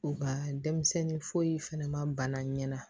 U ka denmisɛnnin foyi fɛnɛ ma bana ɲɛ